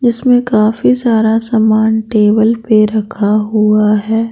जिसमें काफी सारा सामान टेबल पर रखा हुआ है ।